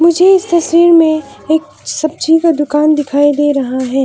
मुझे इस तस्वीर में एक सब्जी का दुकान दिखाई दे रहा है।